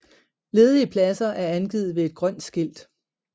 Ledige pladser er angivet ved et grønt skilt